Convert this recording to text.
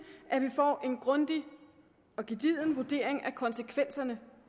at vi får en grundig og gedigen vurdering af konsekvenserne